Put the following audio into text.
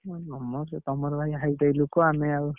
ତମର ଭାଇ high-five ଲୋକ ଆମେ ଆଉ।